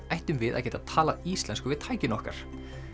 ættum við að geta talað íslensku við tækin okkar